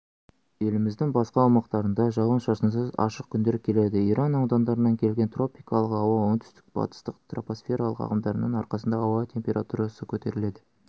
еліміздің басқа аумақтарында жауын-шашынсыз ашық күндер келеді иран аудандарынан келген тропикалық ауа оңтүстік-батыстық тропосфералық ағымдардың арқасында ауа температурасы көтеріледі